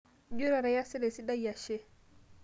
ijio taata iyasita esidai ashe